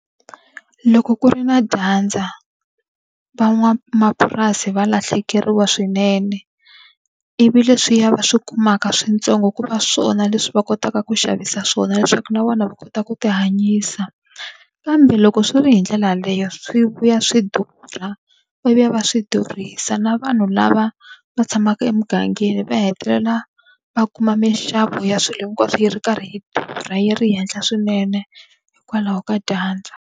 Loko ku ri na dyandza van'wamapurasi va lahlekeriwa swinene. Ivi leswiya va swi kumaka swintsongo ku va swona leswi va kotaka ku xavisa swona leswaku na vona va kota ku ti hanyisa. Kambe loko swi ri hi ndlela yaleyo swi vuya swi durha, va vuya va swi durhisa, na vanhu lava va tshamaka emugangeni va hetelela va kuma minxavo ya swilo hinkwaswo yi ri karhi yi durha yi ri henhla swinene hikwalaho ka dyandza.